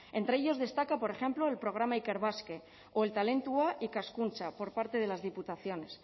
entre ellos destaca por ejemplo el programa ikerbasque o el talentua ikaskuntza por parte de las diputaciones